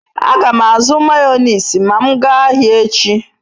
A gam azu mayonezi ma m gaa ahia echi